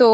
তো